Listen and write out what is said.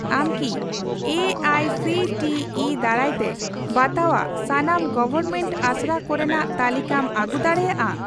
ᱟᱢ ᱠᱤ ᱮ ᱟᱭ ᱥᱤ ᱴᱤ ᱤ ᱫᱟᱨᱟᱭᱛᱮ ᱵᱟᱛᱟᱣᱟᱜ ᱥᱟᱱᱟᱢ ᱜᱚᱣᱚᱨᱢᱮᱱᱴ ᱟᱥᱲᱟ ᱠᱚᱨᱮᱱᱟᱜ ᱛᱟᱞᱤᱠᱟᱢ ᱟᱹᱜᱩ ᱫᱟᱲᱮᱭᱟᱜᱼᱟ ?